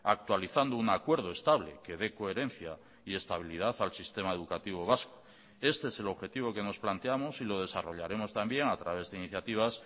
actualizando un acuerdo estable que dé coherencia y estabilidad al sistema educativo vasco este es el objetivo que nos planteamos y lo desarrollaremos también a través de iniciativas